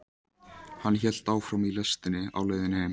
Hann hélt áfram í lestinni á leiðinni heim.